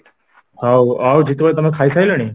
ହଉ ଆଉ ଜିତୁ ଭାଇ ତମେ ଖାଇ ସାରିଲଣି?